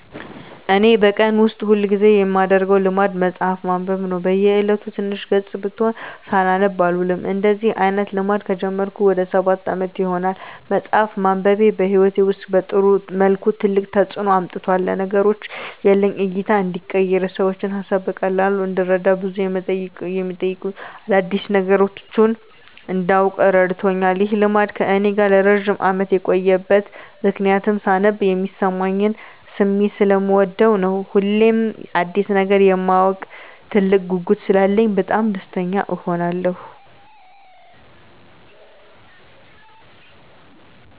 እኔ በቀን ውስጥ ሁል ጊዜ የማደረገው ልማድ መጽሀፍ ማንበብ ነው። በ እየለቱ ትንሽም ገፅ ብትሆን ሳላነብ አልውልም። እንደዚህ አይነት ልማድ ከጀመርኩ ወደ ሰባት አመት ይሆናል። መፅሃፍ ማንበቤ በህይወቴ ውስጥ በጥሩ መልኩ ትልቅ ተፅዕኖ አምጥቷል። ለነገሮች ያለኝ እይታ እንዲቀየር፣ የሰዎችን ሀሳብ በቀላሉ እንድረዳ፣ ብዙ የመጠቅሙኝን አዳዲስ ነገሮች እንዳውቅ እረድቶኛል። ይህ ልማድ ከእኔ ጋር ለረጅም አመት የቆየበት ምክንያትም ሳነብ የሚሰማኝን ስሜት ሰለምወደው ነው። ሁሌም አዲስ ነገር የማወቅ ትልቅ ጉጉት ስላለኝ በጣም ደስተኛ እሆናለሁ።